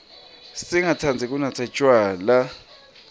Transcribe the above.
singatsandzi kunatsa tjwala